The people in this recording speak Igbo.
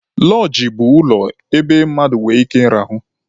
Lọọjị bụ ulọ ebe mmadụ nwere ike ịrahụ.